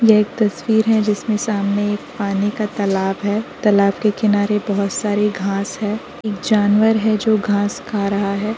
यह एक तस्वीर है जिसमें सामने एक पानी का तालाब है तालाब के किनारे बोहोत सारे घांस हैं। एक जानवर है जो घांस खा रहा है।